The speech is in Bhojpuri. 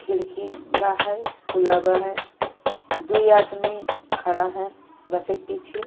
खिड़की बा है। खुला बा है। दुइ आदमी खड़ा है बसे के पीछे।